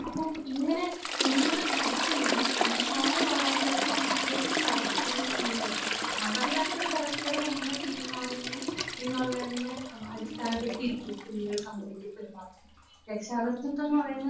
അപ്പോൾ ഇങ്ങനെ കുഞ്ഞുങ്ങൾ പഠിക്കുന്നത് എന്താണ് മാതാപിതാക്കൾ വീട്ടിൽ പരസ്പരം ചെയ്യുന്നത് മാതാപിതാക്കൾ പരസ്പരം എങ്ങനെ പെരുമാറുന്നു എന്നുള്ളതിനെ അടിസ്ഥാനപ്പെടുത്തിയിരിക്കും കുഞ്ഞുങ്ങൾ സമൂഹത്തിൽ പെരുമാറുന്നത്. രക്ഷാകർത്തിത്വമെന്ന് പറയുന്നത്